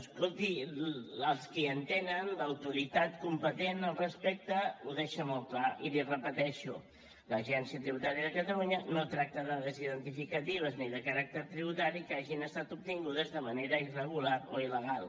escolti els que hi entenen l’autoritat competent al respecte ho deixa molt clar i l’hi repeteixo l’agència tributària de catalunya no tracta dades identificatives ni de caràcter tributari que hagin estat obtingudes de manera irregular o il·legal